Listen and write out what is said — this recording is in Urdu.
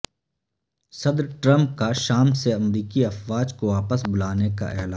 صدر ٹرمپ کا شام سے امریکی افواج کو واپس بلانے کا اعلان